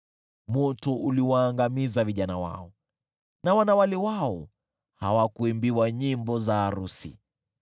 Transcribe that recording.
Moto uliwaangamiza vijana wao, na wanawali wao hawakuimbiwa nyimbo za arusi,